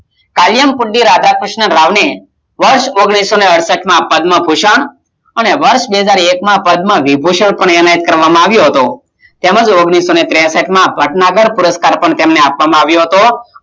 કાર્યકૂટીરાધાક્રિષ્ણ રાવ વર્ષ ઓગાણિસોળસટ પદ્મ ભૂસકે બેહજારએક માં પ્રથમ વિભુસાક અનેક કરવામાં આવીયો હતો, ઓગણીસો ત્રેસઠ પદમ પુરુસ્કાર તેને આપવામાં આવીઓ હતો